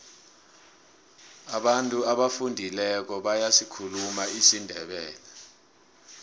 abantu abafundileko bayasikhuluma isindebele